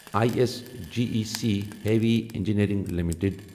I S G E C heavy engineering limited